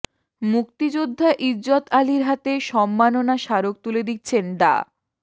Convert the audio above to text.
মুক্তিযোদ্ধা ইজ্জত আলীর হাতে সম্মাননা স্মারক তুলে দিচ্ছেন ডা